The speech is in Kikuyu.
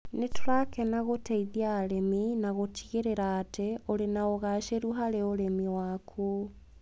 Nĩ tũrakena ũteithia arĩmi na gũtigĩrĩra atĩ ũrĩ na ũgaacĩru harĩ ũrĩmi waku.